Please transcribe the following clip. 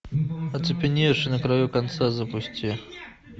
оцепеневший на краю конца запусти